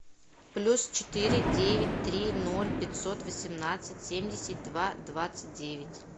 плюс четыре девять три ноль пятьсот восемнадцать семьдесят два двадцать девять